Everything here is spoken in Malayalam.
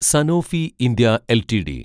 Sanofi India LTD